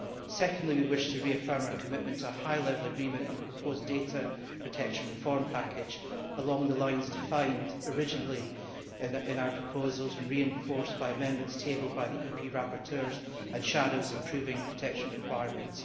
Secondly we wish to reaffirm our commitment to a high level agreement on the proposed data protection reform package, along the lines originally defined in our proposals and reinforced by amendments tabled by the EP rapporteurs and shadows on improving protection requirements.